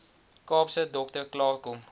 kaapse dokter klaarkom